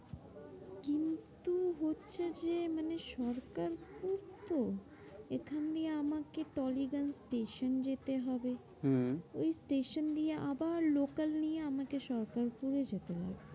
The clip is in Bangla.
মানে সরকার পুর তো, এখানে আমাকে টালিগঞ্জ station যেতে হবে হম ওই station দিয়ে আবার লোকাল নিয়ে আমাকে সরকার পুরে যেতে হবে।